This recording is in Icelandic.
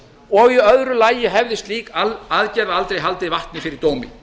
og í öðru lagi hefði slík aðgerð aldrei haldið vatni fyrir dómi